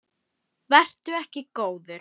Vertu ekki góður.